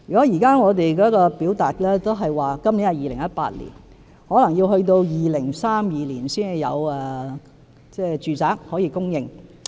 如果按我們現時的表述，今年是2018年，可能要待2032年才有住宅可以供應。